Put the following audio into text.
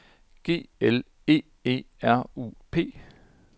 G L E E R U P